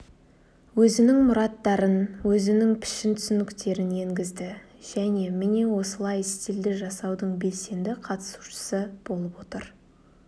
өзінің мұраттарын өзінің пішін түсініктерін енгізді және міне осылай стильді жасаудың белсенді қатысушысы болып отыр